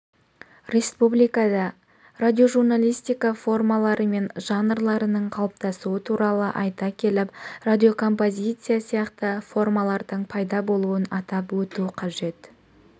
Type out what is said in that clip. республикада радиожурналистика формалары мен жанрларының қалыптасуы туралы айта келіп радиокомпозиция сияқты формалардың пайда болуын атап өту қажет